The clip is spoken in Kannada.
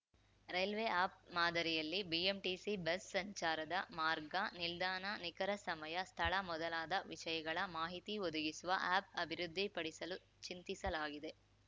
ರೈಲ್ವೆ ಆ್ಯಪ್‌ ಮಾದರಿಯಲ್ಲಿ ಬಿಎಂಟಿಸಿ ಬಸ್‌ ಸಂಚಾರದ ಮಾರ್ಗ ನಿಲ್ದಾಣ ನಿಖರ ಸಮಯ ಸ್ಥಳ ಮೊದಲಾದ ವಿಷಯಗಳ ಮಾಹಿತಿ ಒದಗಿಸುವ ಆ್ಯಪ್‌ ಅಭಿವೃದ್ಧಿಪಡಿಸಲು ಚಿಂತಿಸಲಾಗಿದೆ